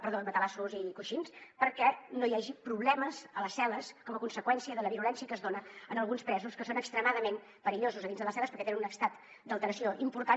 perdó matalassos i coixins perquè no hi hagi problemes a les cel·les com a conseqüència de la virulència que es dona en alguns presos que són extremadament perillosos a dins de les celles perquè tenen un estat d’alteració important